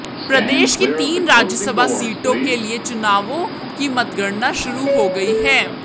प्रदेश की तीन राज्यसभा सीटों के लिए हुए चुनावों की मतगणना शुरू हो गई है